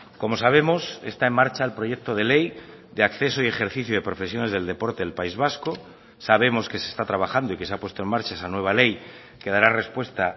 como sabemos está en marcha el proyecto de ley de acceso y ejercicio de profesiones del deporte del país vasco sabemos que se está trabajando y que se ha puesto en marcha esa nueva ley que dará respuesta